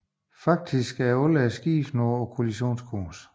Faktisk var skibene nu på kollisionskurs